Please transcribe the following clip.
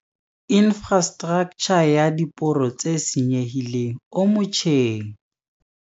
Infrastraktjha ya diporo tse senyehileng o motjheng.